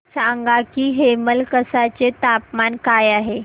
सांगा की हेमलकसा चे तापमान काय आहे